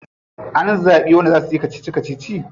An zabi wanda za suyi kacici kacici?